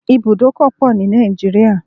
There are many bus stops in Nigeria